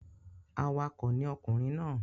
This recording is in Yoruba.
Awakọ̀ ni ọkùnrin náà.